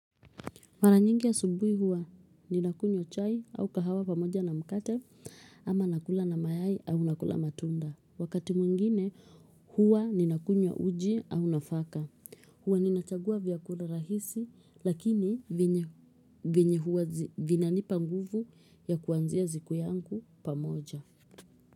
Maranyingi asubui hua ninakunywa chai au kahawa pamoja na mkate ama nakula na mayai au nakula matunda. Wakati mwingine hua ninakunywa uji au nafaka. Huwa ninachagua vyakula rahisi lakini vinani panguvu ya kuanzia ziku yangu pamoja.